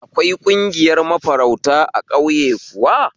Akwai ƙungiyar mafarauta a ƙauye kuwa?